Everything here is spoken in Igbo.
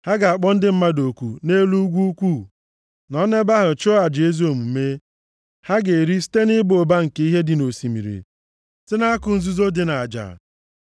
Ha ga-akpọ ndị mmadụ oku nʼelu ugwu ukwuu, nọ nʼebe ahụ chụọ aja ezi omume, ha ga-eri site nʼịba ụba nke ihe dị nʼosimiri, site nʼakụ nzuzo dị nʼaja.”